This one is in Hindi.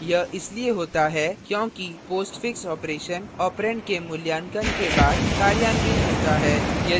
यह इसलिए होता है क्योंकि postfix operation operand के मूल्यांकन के बाद कार्यान्वित होता है